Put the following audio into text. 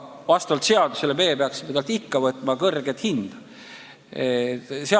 Vastavalt seadusele me peaksime talt ikka võtma suurt ressursitasu.